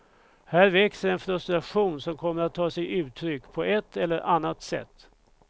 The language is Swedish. Här växer en frustration som kommer att ta sig uttryck på ett eller annat sätt.